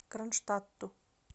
кронштадту